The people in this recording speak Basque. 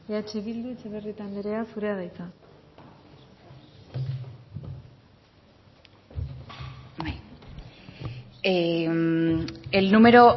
eh bildu etxebarrieta anderea zurea da hitza el número